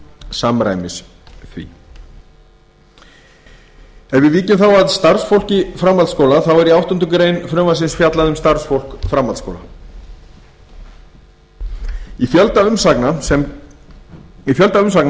samræmis því ef við víkjum þá að starfsfólki framhaldsskóla þá er í áttundu greinar frumvarpsins fjallað um starfsfólk framhaldsskóla í fjölda umsagna